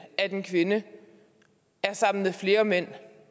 en kvinde er sammen med flere mænd